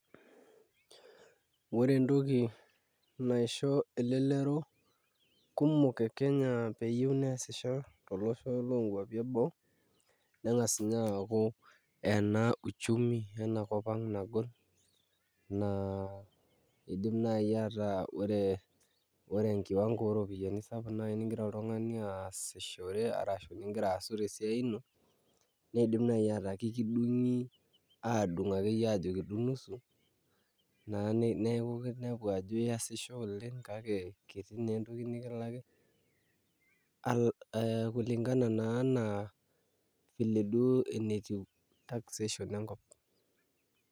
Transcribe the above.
Ore entoki naisho elelero kumok e Kenya peyie naa eesisho toonkuapi eboo neng'as inye aaku ena uchumi ena kop ang' nagol naa iidim naai aataa ore enkiwango oropiyiani sapuk naai nigira oltung'ani aasishore arashu nigira aasu tesiai ino negira naai aaku kakidung'i aadung' akeyie aajo kidung' nusu naa neeku ajo iunepu ajo iasisho oleng' kake kiti naa entoki nikilaki ee kulingana naa vile duo enetiu taxation enkop.